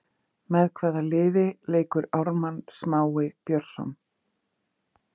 Með hvaða liði leikur Ármann Smái Björnsson?